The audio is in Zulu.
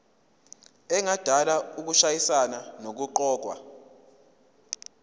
engadala ukushayisana nokuqokwa